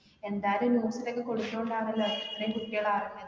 എന്തായാലും news ലൊക്കെ കൊടുത്തോണ്ടാന്നല്ലോ ഇത്രയും കുട്ടികളറിഞ്ഞത്